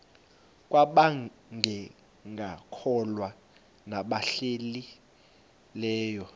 kwabangekakholwa nabahlehli leyo